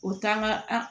O t'an ka an